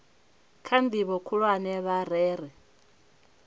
kha ndivho khulwane vha rere